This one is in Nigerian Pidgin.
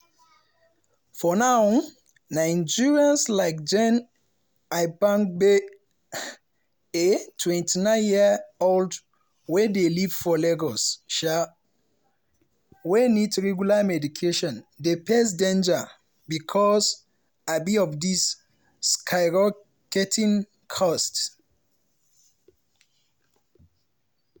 for now nigerians like jane aibangbe a 29-year-old wey dey live for lagos um wey need regular medication dey face danger becos um of di skyrocketing costs.